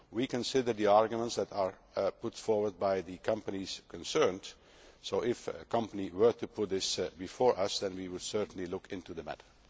We consider the arguments that are put forward by the companies concerned, so if a company were to put this before us then we would certainly look into the matter.